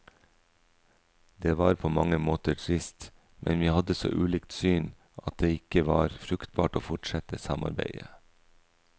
Det var på mange måter trist, men vi hadde så ulikt syn at det ikke var fruktbart å forsette samarbeidet.